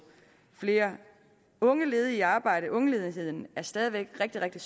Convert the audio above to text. flere unge ledige i arbejde ungeledigheden er stadig væk rigtig rigtig